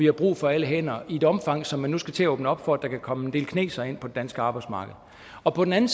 har brug for alle hænder i et omfang så man nu skal til at åbne op for at der kan komme en del kinesere ind på det danske arbejdsmarked og på den anden